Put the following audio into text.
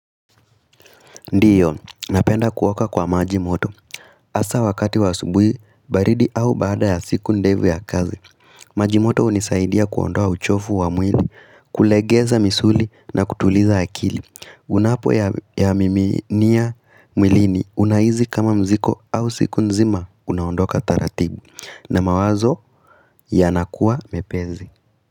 Ndiyo, napenda kuwaka kwa majimoto. Asa wakati wa asubuhi, baridi au baada ya siku ndevu ya kazi, majimoto hunisaidia kuondoa uchofu wa mwili, kulegeza misuli na kutuliza akili. Unapo ya mimi niya mwilini, unaizi kama mziko au siku nzima, unaondoka taratibi. Na mawazo, yanakua mepezi.